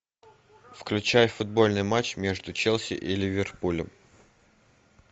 включай футбольный матч между челси и ливерпулем